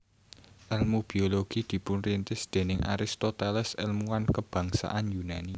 Èlmu biologi dipunrintis déning Aristoteles èlmuwan kebangsaan Yunani